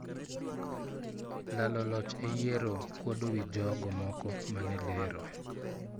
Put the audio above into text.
Lalo loch e yiero, kwuodo wii jogo moko mane lero.